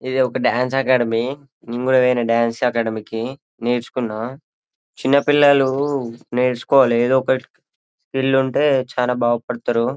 ఇది ఒక dance academy నెం కూడా పోయిన డాన్స్ అకాడమీ కి నేర్చుకున్న చిన్నపిల్లలు నేర్చుకోవాలా ఏదో ఒకటి ఉంటే చాన బాగుపడతారు.